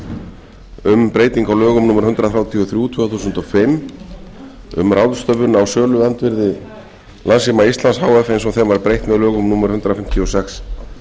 um breytingu á lögum númer hundrað þrjátíu og þrjú tvö þúsund og fimm um ráðstöfun á söluandvirði landssíma íslands h f eins og þeim var breytt með lögum númer hundrað fimmtíu og sex